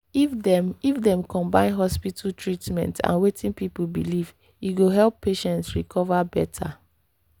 if dem if dem combine hospital treatment and wetin people believe e go help patients recover better.